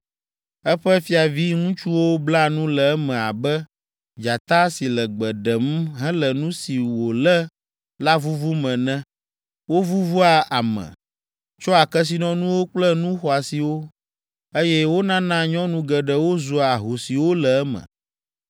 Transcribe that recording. Eƒe fiaviŋutsuwo bla nu le eme abe dzata si le gbe ɖem hele nu si wòlé la vuvum ene; wovuvua ame, tsɔa kesinɔnuwo kple nu xɔasiwo, eye wonana nyɔnu geɖewo zua ahosiwo le eme.